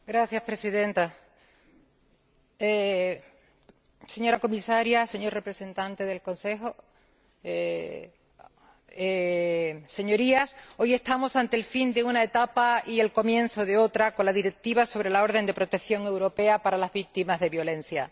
Señora Presidenta, señora Comisaria, señor representante del Consejo, Señorías, hoy estamos ante el fin de una etapa y el comienzo de otra con la Directiva sobre la orden europea de protección para las víctimas de violencia.